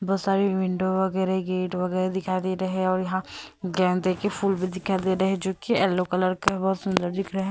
बहुत सारी विंडो वगैरह गेट वगैरह दिखाई दे रहे हैं और यहां गेंद के फूल भी दिखाई दे रहे हैं जो कि येलो कलर का बहुत सुंदर दिख रहे हैं।